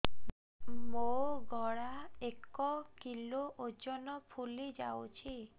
ମୋ ଗଳା ଏକ କିଲୋ ଓଜନ ଫୁଲି ଯାଉଛି